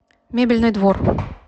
мебельный двор